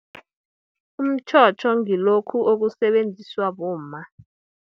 Umtjhotjho, ngilokhu okusebenziswa bomma.